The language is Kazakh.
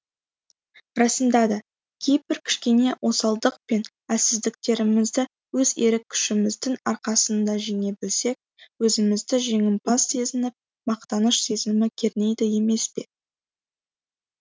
расында да кейбір кішкене осалдық пен әлсіздіктерімізді өз ерік күшіміздің арқасында жеңе білсек өзімізді жеңімпаз сезініп мақтаныш сезімі кернейді емес пе